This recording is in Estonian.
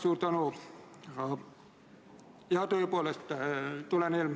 Austatud istungi juhataja!